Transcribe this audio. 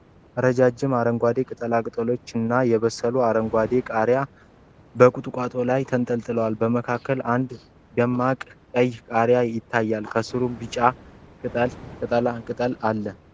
ረዣዥም አረንጓዴ ቅጠሎችና የበሰሉ አረንጓዴ ቃሪያዎች በቁጥቋጦ ላይ ተንጠልጥለዋል። በመካከል አንድ ደማቅ ቀይ ቃሪያ ይታያል፣ ከስሩም ቢጫ ቅጠላ ቅጠል አለ።